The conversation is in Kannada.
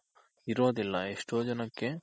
ಇರೋದಿಲ್ಲ ಎಷ್ಟೋ ಜನಕ್ಕೆ